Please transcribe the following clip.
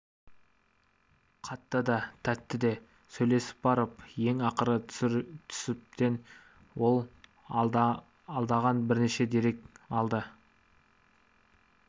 қатты да тәтті де сөйлесіп барып ең ақыры түсіптен ол аңдаған бірнеше дерек алды